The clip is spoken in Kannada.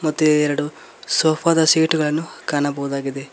ಮತ್ತೆ ಎರಡು ಸೋಫಾ ದ ಸೀಟ್ ಗಳನ್ನು ಕಾಣಬಹುದಾಗಿದೆ.